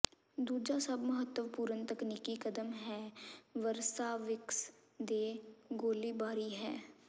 ਦੂਜਾ ਸਭ ਮਹੱਤਵਪੂਰਨ ਤਕਨੀਕੀ ਕਦਮ ਹੈ ਵਸਰਾਵਿਕਸ ਦੇ ਗੋਲੀਬਾਰੀ ਹੈ